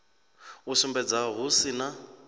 u sumbedza hu si na